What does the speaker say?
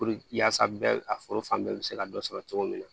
yaasa bɛɛ a foro fan bɛɛ be se ka dɔ sɔrɔ cogo min na